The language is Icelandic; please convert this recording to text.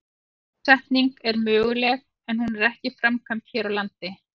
Bólusetning er möguleg en hún er ekki framkvæmd hér á landi.